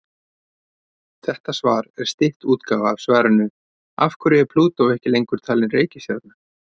Þetta svar er stytt útgáfa af svarinu Af hverju er Plútó ekki lengur talin reikistjarna?